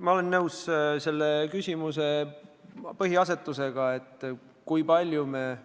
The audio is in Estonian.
Ma olen nõus selle küsimuse põhiasetusega, et kui palju me ikkagi